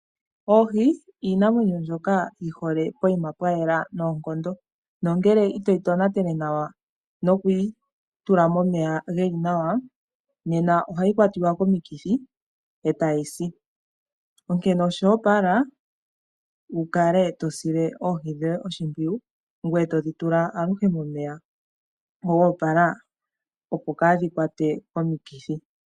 Oohi iinamwenyo mbyoka yihole poima pwayela noonkondo, nongele itoyi tonatele nawa nokwii tula momeya geli nawa, nena ohayi kwatiwa komikithi etayi si onkene oshoopala wukale tosile oohi dhoye oshimpwiyu ngweye todhi tula aluhe momeya goopala opo kaadhi kwatwe komikithi.